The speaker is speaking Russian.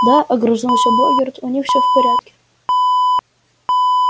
да огрызнулся богерт у них всё в порядке